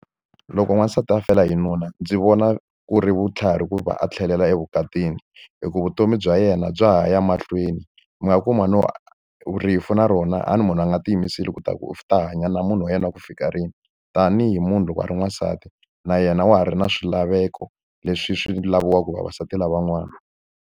Loko n'wansati a fela hi nuna, ndzi vona ku ri vutlhari ku va a tlhelela evukatini. Hi ku vutomi bya yena bya ha ya mahlweni. Mi nga kuma no rifu na rona a ni munhu a nga tiyimiseli leswaku u ta hanya na munhu wa yena wa ku fika rini. Tanihi munhu loko a ri n'wansati na yena wa ha ri na swilaveko leswi swi laviwaka vavasati lavan'wana.